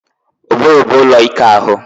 Ụbụrụ bụ ụlọ ike ahụ